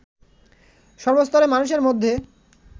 সর্বস্তরের মানুষের মধ্যে